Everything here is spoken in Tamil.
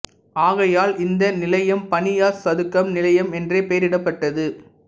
ஆகையால் இந்த நிலையம் பனியாஸ் சதுக்கம் நிலையம் என்றே பெயரிடப்பட்டது